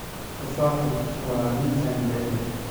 Tufaaxu waa midhaha aan jeclahay.